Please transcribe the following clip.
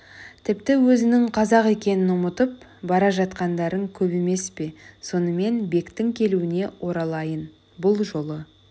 тіпті өзінің қазақ екенін ұмытып бара жатқандарың көп емес пе сонымен бектің келуіне оралайын бұл жолы